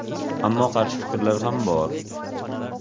Ammo qarshi fikrlar ham bor.